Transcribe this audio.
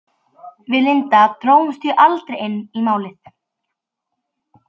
Við Linda drógumst því aldrei inn í Málið.